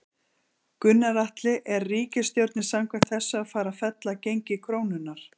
Gunnar Atli: Er ríkisstjórnin samkvæmt þessu að fara að fella gengi krónunnar?